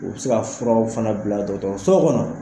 U bɛ se ka furaw fana bila dɔtɔrɔso kɔnɔ.